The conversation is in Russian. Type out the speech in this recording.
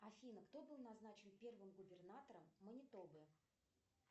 афина кто был назначен первым губернатором манитобы